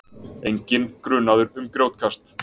Enginn grunaður um grjótkast